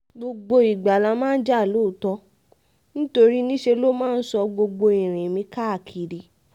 gbogbo ìgbà la máa ń jà lóòótọ́ nítorí níṣe ló máa ń sọ gbogbo ìrìn mi káàkiri